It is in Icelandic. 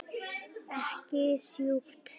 Ekki sjúkt.